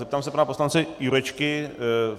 Zeptám se pana poslance Jurečky?